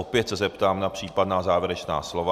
Opět se zeptám na případná závěrečná slova.